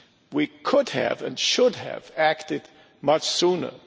We could have, and should have, acted much sooner.